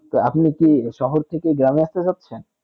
আপনি কি শহর থেকে গ্রামে আস্তে চাচ্ছেন